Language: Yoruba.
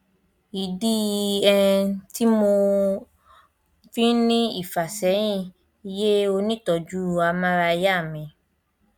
ìdí um tí mo um fi ń ní ìfàsẹyìn yé onítọọjú amárayá mi